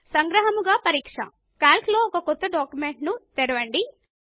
సంగ్రహముగా పరీక్ష160 కాల్క్ లో ఒక క్రొత్త డాక్యుమెంట్ ను తెరవండి